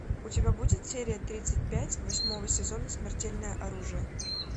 у тебя будет серия тридцать пять восьмого сезона смертельное оружие